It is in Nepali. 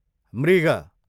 मृग